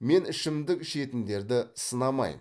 мен ішімдік ішетіндерді сынамаймын